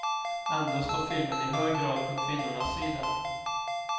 Ändå står filmen i hög grad på kvinnornas sida.